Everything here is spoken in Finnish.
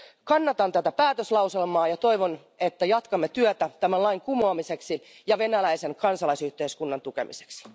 Kannatan tätä päätöslauselmaa ja toivon, että jatkamme työtä tämän lain kumoamiseksi ja venäläisen kansalaisyhteiskunnan tukemiseksi.